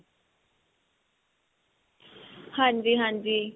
ਹਾਂਜੀ ਹਾਂਜੀ.